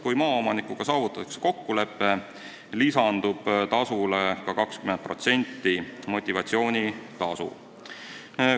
Kui maaomanikuga saavutatakse kokkulepe, lisandub lõpptasule ka 20% motivatsioonitasu.